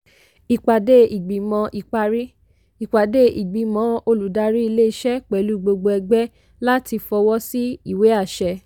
ìpàdé ìgbìmọ̀ ìparí - ìpàdé ìgbìmọ̀ oludárí ilé-iṣẹ́ pẹ̀lú gbogbo ẹgbẹ́ láti fọwọ́ sí ìwé àṣẹ.